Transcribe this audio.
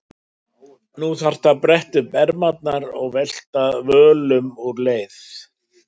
Nú þarft þú að bretta upp ermarnar og velta völum úr leið.